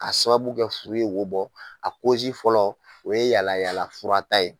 K'a sababu kɛ furu ye wo bɔ a kozi fɔlɔ o ye yalayaala furata ye.